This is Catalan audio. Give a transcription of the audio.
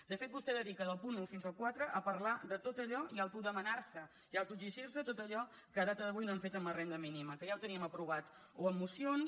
de fet vostè dedica del punt un al quatre a parlar de tot allò i a autodemanar se i autoexigir se tot allò que a data d’avui no han fet amb la renda mínima que ja teníem aprovat o amb mocions